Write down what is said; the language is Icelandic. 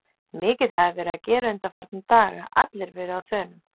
Mikið hafði verið að gera undanfarna daga, allir verið á þönum.